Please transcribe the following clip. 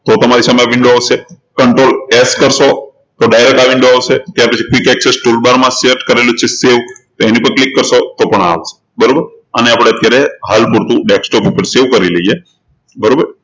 તો તમારી સામે આ window આવશે controlS કરશો તો direct આ window આવશે ત્યારપછી quick access toolbar માં set કરેલું છે તે ઉપર click કરશો તો આ આવશે બરોબર અને અત્યારે હાલ પુરતું desktop ઉપર save કરી લઈએ બરોબર